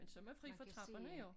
Men så man fri for trapperne jo